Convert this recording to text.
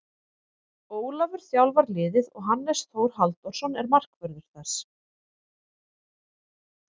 Ólafur þjálfar liðið og Hannes Þór Halldórsson er markvörður þess.